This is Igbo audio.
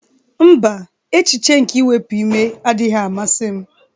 Mba, echiche nke iwepuime adịghị amasị m